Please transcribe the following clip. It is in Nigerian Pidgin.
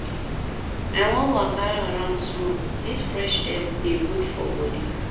I wan waka around small, dis fresh air dey good for bodi.